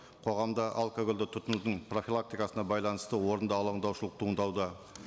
қоғамда алкогольді тұтынудың профилактикасына байланысты орынды алаңдаушылық туындауда